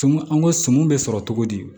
Sumun an ko sumu bɛ sɔrɔ cogo di